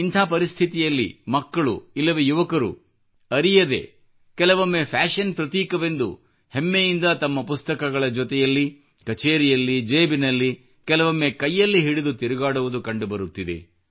ಇಂಥ ಪರಿಸ್ಥಿತಿಯಲ್ಲಿ ಮಕ್ಕಳು ಇಲ್ಲವೆ ಯುವಕರು ಅರಿಯದೇ ಕೆಲವೊಮ್ಮೆ ಫ್ಯಾಶನ್ ಪ್ರತೀಕವೆಂದು ಹೆಮ್ಮೆಯಿಂದ ತಮ್ಮ ಪುಸ್ತಕಗಳ ಜೊತೆಗೆ ಕಛೇರಿಯಲ್ಲಿ ಜೇಬಿನಲ್ಲಿ ಕೆಲವೊಮ್ಮೆ ಕೈಯಲ್ಲಿ ಹಿಡಿದು ತಿರುಗಾಡುವುದು ಕಂಡುಬರುತ್ತಿದೆ